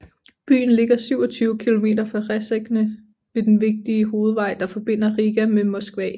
Byen ligger 27 kilometer fra Rēzekne ved den vigtige hovedved der forbinder Riga med Moskva